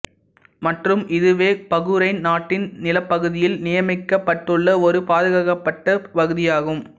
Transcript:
மற்றும் இதுவே பகுரைன் நாட்டின் நிலப்பகுதியில் நியமிக்கப்பட்டுள்ள ஒரே பாதுகாக்கப்பட்ட பகுதியாகும்